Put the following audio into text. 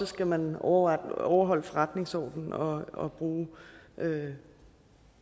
skal man overholde overholde forretningsordenen og og have